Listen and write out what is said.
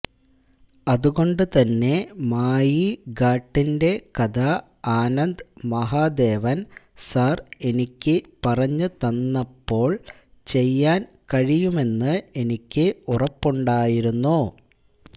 അതുകൊണ്ടു തന്നെ മായി ഘാട്ടിന്റെ കഥ ആനന്ദ് മഹാദേവന് സാര് എനിക്ക് പറഞ്ഞു തന്നപ്പോള് ചെയ്യാന് കഴിയുമെന്ന് എനിക്ക് ഉറപ്പുണ്ടായിരുന്നു